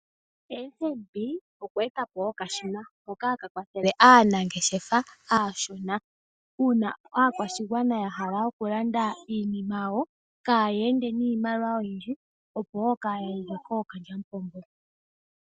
FNB, okwe eta po okashina, hoka haka kwathele aanangeshefa aashona. Uuna aakwashigwana ya hala oku landa iinima yawo, kaa ya ende niimaliwa oyindji opo wo kaa ya yugwe kookalyamupombo